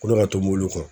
Kolo ka tobi olu kɔ